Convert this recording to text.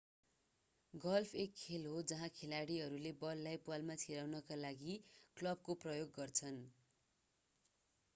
golf एक खेल हो जहाँ खेलाडीहरू बललाई प्वालमा छिराउनका लागि क्लबको प्रयोग गर्छन्